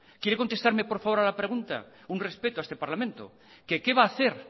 quiere contestarme por favor a la pregunta un respeto a este parlamento qué va a hacer